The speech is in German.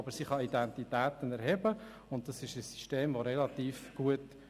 Aber sie kann Identitäten erheben, und dieses System funktioniert relativ gut.